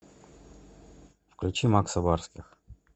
включи макса барских